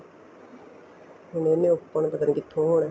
ਹੁਣ ਇਹਨੇ open ਪਤਾ ਨੀ ਕਿੱਥੋ ਹੋਣਾ